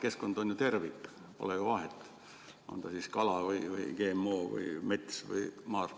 Keskkond on ju tervik, pole ju vahet, on see siis kala, GMO, mets või maardlad.